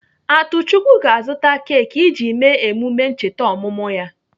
Atuchukwu ga-azụta keki iji mee emume ncheta ọmụmụ ya.